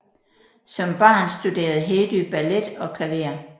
Som barn studerede Hedy ballet og klaver